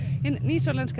hinn nýsjálenska